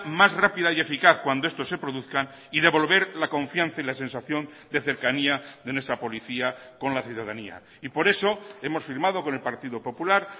más rápida y eficaz cuando esto se produzcan y devolver la confianza y la sensación de cercanía de nuestra policía con la ciudadanía y por eso hemos firmado con el partido popular